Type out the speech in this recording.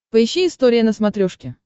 поищи история на смотрешке